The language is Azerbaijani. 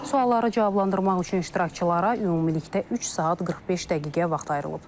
Sualları cavablandırmaq üçün iştirakçılara ümumilikdə üç saat 45 dəqiqə vaxt ayrılıb.